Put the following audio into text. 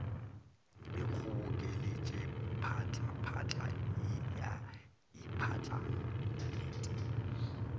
ikgobokeletša phatlaphatla e a iphatlalalet